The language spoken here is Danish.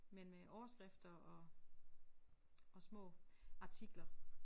Men øh overskrifter og og små artikler